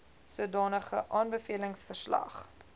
sodanige aanbevelings verslag